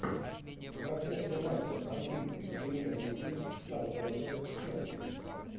трансляция матча английской премьер лиги саутгемптон челси